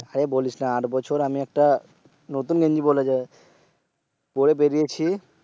হ্যাঁ বলিস না। আর বছর আমি একটা নতুন গেঞ্জি পরে বেরিয়েছি।